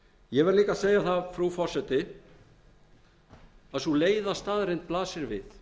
verð líka að segja það frú forseti að sú leiða staðreynd blasir við